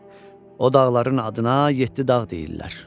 O dağların adına yeddi dağ deyirlər.